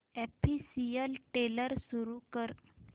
official trailer सुरू कर